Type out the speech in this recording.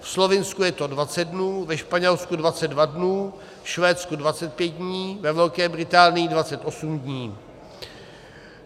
Ve Slovinsku je to 20 dnů, ve Španělsku 22 dnů, ve Švédsku 25 dní, ve Velké Británii 28 dní.